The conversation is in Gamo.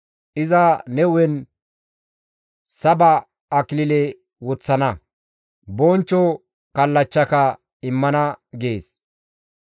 Iza ne hu7en saba akilile woththana; bonchcho kallachchaka immana» gees.